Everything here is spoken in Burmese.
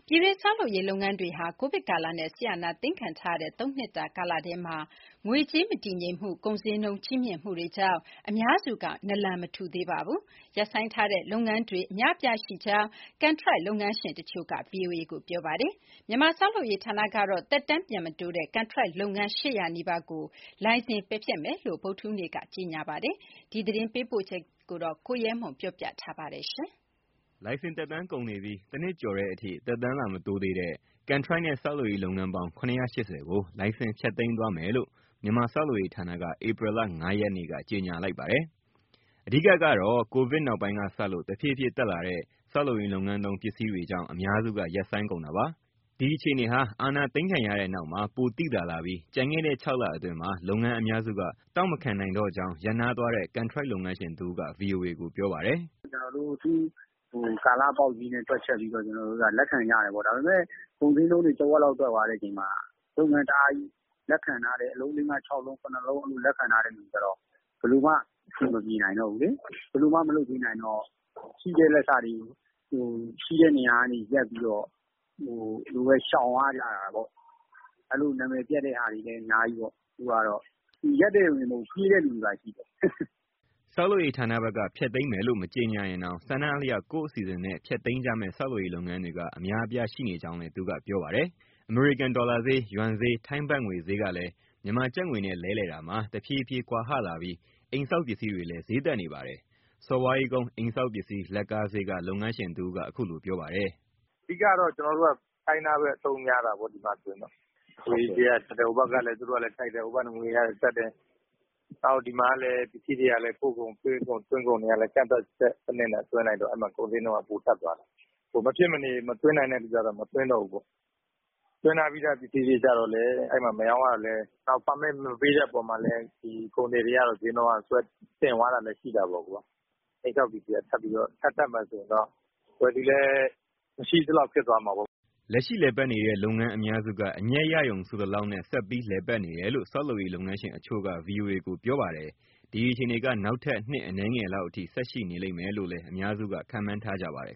ပြည်တွင်း ဆောက်လုပ်ရေးလုပ်ငန်းတွေဟာ ကိုဗစ်ကာလနဲ့ စစ်အာဏာသိမ်းခံထားရတဲ့ လွန်ခဲ့တဲ့ ၃ နှစ်တာ ကာလထဲမှာ ငွေကြေး မတည်ငြိမ်တာ၊ ကုန်ဈေးနှုန်း ကြီးမြင့်တာတွေကြောင့် အများစုက နလန် မထူနိုင်သေးပါဘူး။ ရပ်ဆိုင်းထားတဲ့ လုပ်ငန်းခွင်တွေ အများအပြားရှိကြောင်း ကန်ထရိုက်လုပ်ငန်းရှင်တချို့က ဗွီအိုအေကို ပြောပါတယ်။ မြန်မာ ဆောက်လုပ်ရေးဌာနကတော့ သက်တမ်းပြန်မတိုးတဲ့ ကန်ထရိုက်လုပ်ငန်း ၈၀၀ နီးပါးကို လိုင်စင် ပယ်ဖျက်သွားမယ်လို့ ဗုဒ္ဓဟူးနေ့က ကြေညာထားပါတယ်။ ဒီအကြောင်း ရန်ကုန်ကပေးပို့တဲ့ သတင်းကို အခြေခံပြီး ကိုရဲမွန်က တင်ပြထားပါတယ်။ လိုင်စင်သက်တမ်းကုန်နေပြီး တနှစ်ကျော်တဲ့အထိ သက်တမ်း လာမတိုးသေးတဲ့ ကန်ထရိုက်နဲ့ ဆောက်လုပ်ရေးလုပ်ငန်းပေါင်း ၇၈၀ ကို လိုင်စင်ဖျက်သိမ်းသွားမယ်လို့ မြန်မာဆောက်လုပ်ရေးဌာနက ဧပြီလ ၅ရက်နေ့က ကြေညာလိုက်ပါတယ်။ အဓိက ကတော့ ကိုဗစ်နောက်ပိုင်းကစလို့ တဖြည်းဖြည်း တက်လာတဲ့ ဆောက်လုပ်ရေးလုပ်ငန်းသုံး ပစ္စည်းဈေးတွေကြောင့် အများစုက ရပ်ဆိုင်းကုန်တာပါ။ ဒီအခြေအနေဟာ အာဏာသိမ်းခံရတဲ့နောက်မှာ ပိုသိသာလာပြီး ကျန်ခဲ့တဲ့ ၆ လအတွင်းမှာ လုပ်ငန်းအများစုက တောင့်မခံနိုင်တော့ကြောင်း ရပ်နားသွားတဲ့ ကန်ထရိုက် လုပ်ငန်းရှင်တဦးက ဗွီအိုအေကို ပြောပါတယ်။ "အခု ကာလပေါက်ဈေးနဲ့ ကျနော်တို့ တွက်ချက်ပြီး လက်ခံကြတယ်ပေါ့။ ဒါပေမဲ့ ကုန်ဈေးနှုန်းတွေ တဝက်လောက် တက်သွားတဲ့အချိန်မှာ လုပ်ငန်းအများကြီး လက်ခံထားတယ်၊ အလုံး လေးငါးခြောက်လုံး ခုနစ်လုံး အဲလိုလက်ခံထားတဲ့ သူတွေကျတော့ ဘယ်လိုမှ အဆင်မပြေနိုင်တော့ဘူးလေ၊ ဘယ်လိုမှ မလုပ်ပေးနိုင်တော့ ရှိတဲ့ လက်စတွေ ရှိတဲ့နေရာက ရပ်ပြီးတော့ ဒီလိုပဲ ရှောင်ကြရတာပေါ့။ အဲလို နာမည်ပျက်တာတွေလည်း အများကြီးပေါ့။ ရပ်တဲ့သူတွေတင်မဟုတ် ပြေးတဲ့သူတွေပါရှိတယ်။" ဆောက်လုပ်ရေးဌာနဘက်က ဖျက်သိမ်းမယ်လို့ မကြေညာရင်တောင် ဆန္ဒအလျောက် ကိုယ့်အစီအစဉ်နဲ့ ဖျက်သိမ်းကြမယ့် ဆောက်လုပ်ရေး လုပ်ငန်းတွေက အများအပြား ရှိနေကြောင်းလည်း သူကပြောပါတယ်။ အမေရိကန်ဒေါ်လာဈေး၊ ယွမ်ဈေး၊ ထိုင်းဘတ်ငွေ ဈေးကလည်း မြန်မာကျပ်ငွေနဲ့ လဲလှယ်တာမှာ တဖြည်းဖြည်း ကွာဟလာပြီး အိမ်ဆောက်ပစ္စည်းတွေလည်း ဈေးတက်နေပါတယ်။ စော်ဘွားကြီးကုန်း အိမ်ဆောက်ပစ္စည်း လက်ကားဈေးက လုပ်ငန်းရှင်တဦးက အခုလိုပြောပါတယ်။ "အဓိကတော့ ကျနော်တို့က China ပဲ အသုံးများတာပေါ့ ဒီမှာ။ ငွေဈေးက တက်တယ်၊ ဟိုဘက်ကငွေကလည်း တက်တယ်၊ ဒီဘက်မှာ ပစ္စည်းတွေကလည်း ပို့ကုန်၊ သွင်းကုန် ကန့်သတ်ချက်စနစ်နဲ့ သွင်းလိုက်တော့ အဲဒီမှာ ကုန်ဈေးနှုန်းက ပိုတက်သွားတာ။ မဖြစ်မနေ မသွင်းနိုင်တဲ့သူကျတော့ မသွင်းတော့ဘူးပေါ့။ သွင်းထားပြီးသား ပစ္စည်းတွေကျတော့လည်း မရောင်းရတော့ ပါမစ်မပေးတဲ့ အပေါ်မှာလည်း ကုန်သည်တွေက ဈေးနှုန်းဆွဲတင်။ အိမ်ဆောက်ပစ္စည်းက ထပ်တက်မယ်ဆိုရင် ဝယ်သူလည်း မရှိသလောက် ဖြစ်သွားမှာပေါ့။" လက်ရှိလည်ပတ်နေတဲ့ လုပ်ငန်းအများစုက အမြတ်ရရုံ ဆိုသလောက်နဲ့ ဆက်ပြီး လည်ပတ်နေတယ်လို့ ဆောက်လုပ်ရေး လုပ်ငန်းရှင်တချို့က ဗွီအိုအေကို ပြောပါတယ်။ ဒီအခြေအနေက နောက်ထပ် နှစ်အနည်းငယ်လောက်အထိ ဆက်ရှိနေလိမ့်မယ်လို့လည်း အများစုက ခန့်မှန်းထားကြပါတယ်